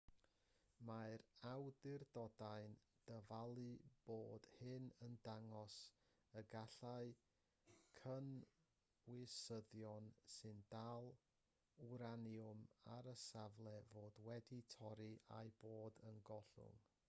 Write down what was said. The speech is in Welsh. mae'r awdurdodau'n dyfalu bod hyn yn dangos y gallai cynwysyddion sy'n dal wraniwm ar y safle fod wedi torri a'u bod yn gollwng